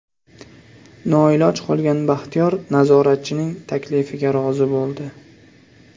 Noiloj qolgan Baxtiyor nazoratchining taklifiga rozi bo‘ldi.